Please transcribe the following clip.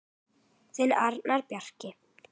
Þinn Arnór Bjarki.